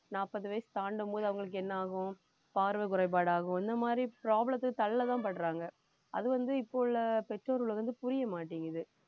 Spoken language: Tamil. நாப்பது வயசு தாண்டும் போது அவங்களுக்கு என்ன ஆகும் பார்வை குறைபாடாகும் இந்த மாதிரி problem த்துல தள்ளதான்படுறாங்க அது வந்து இப்ப உள்ள பெற்றோர்களுக்கு வந்து புரியமாட்டேங்குது